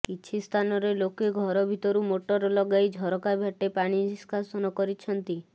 କିଛି ସ୍ଥାନରେ ଲୋକେ ଘର ଭିତରୁ ମୋଟର ଲଗାଇ ଝରକା ବାଟେ ପାଣି ନିଷ୍କାସନ କରିଛନ୍ତି